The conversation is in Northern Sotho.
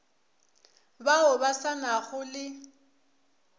bao ba sa nago le